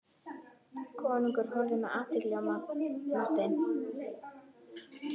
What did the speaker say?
Konungur horfði með athygli á Martein.